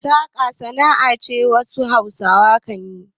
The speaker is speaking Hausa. Saƙa sana'a ce da wasu Hausawa kan yi.